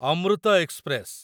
Amrit express